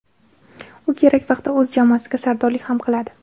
U kerak vaqtda o‘z jamoasiga sardorlik ham qiladi.